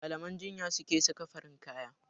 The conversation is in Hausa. Malaman jinya suka farin kaya.